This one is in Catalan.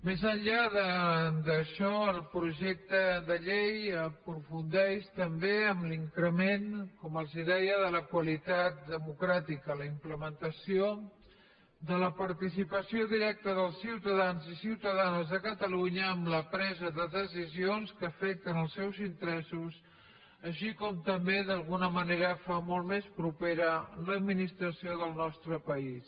més enllà d’això el projecte de llei aprofundeix també en l’increment com els deia de la qualitat democràtica la implementació de la participació directa dels ciutadans i ciutadanes de catalunya en la presa de decisions que afecten els seus interessos així com també d’alguna manera fa molt més propera l’administració del nostre país